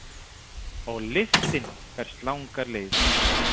Og lyktin berst langar leiðir